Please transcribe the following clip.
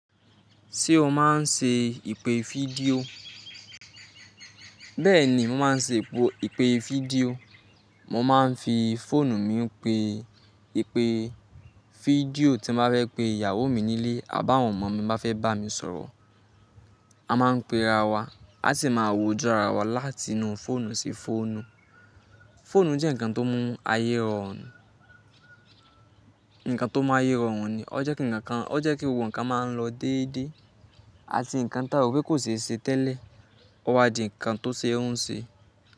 Ṣé o máa ń ṣe ìpè fídíò? Bẹ́ẹ̀ni, mo máa ń ṣe ìpè fídíò. Mo máa ń fi fóònù mi pe ìpè fídíò tí mo bá fẹ́ pe ìyàwó mi nílé àbá àwọn ọmọ mi bá fẹ́ bá mi sọ̀rọ̀. A máa ń pe ara wa, a sì máa wojú ara wa láti inú fóònù sí fóònù. Fóònù jẹ́ ǹkan tó mún ayé rọrùn, ǹkan tó mún ayé rọrùn ni. Ó jẹ́ kí ǹkan, ó jẹ́ kí gbogbo ǹkan máa ń lọ déédéé. A ti ǹkan táwò pé kò n ṣeése tẹ́lẹ̀, wà di ǹkan tó ṣe ẹ́ hun ṣe.